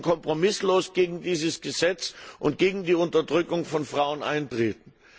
Wir müssen kompromisslos gegen dieses Gesetz und gegen die Unterdrückung von Frauen eintreten.